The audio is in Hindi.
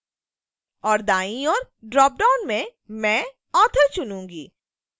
और दाईं ओर ड्रॉपडाउन में मैं author चुनूँगी